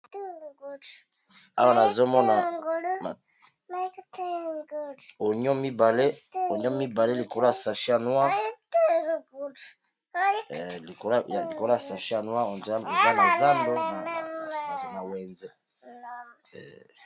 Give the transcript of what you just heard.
Awa nazomona onio mibale likolo ya sache ya noir eza na zando na wenze.